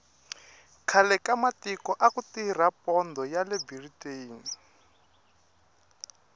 khale ka matiko aku tirha pondho yale biriteni